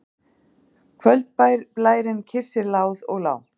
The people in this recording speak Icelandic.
Kvöldblærinn kyssir láð og lá.